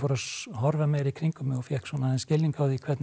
horfa meira í kringum mig og fékk svona aðeins skilning á því hvernig